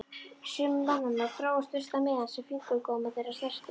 Sumir mannanna drógu fyrsta miðann sem fingurgómar þeirra snertu.